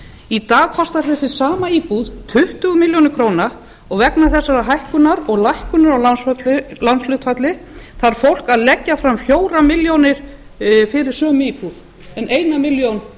í dag kostar þessi sama íbúð tuttugu milljónir króna og vegna þessarar hækkunar og lækkunar á lánshlutfalli þarf fólk að leggja fram fjórar milljónir fyrir sömu íbúð um eina milljón